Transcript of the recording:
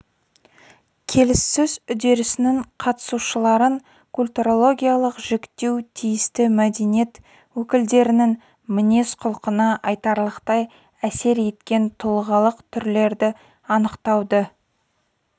келіссөз үдерісінің қатысушыларын культурологиялық жіктеу тиісті мәдениет өкілдерінің мінез-құлқына айтарлықтай әсер еткен тұлғалық түрлерді анықтауды